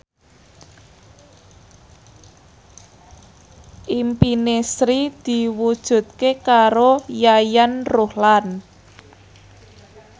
impine Sri diwujudke karo Yayan Ruhlan